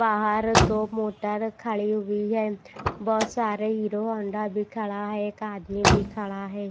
बाहर दो मोटर खड़ी हुई है बहुत सारे हीरो होंडा भी खड़ा है एक आदमी भी खड़ा है।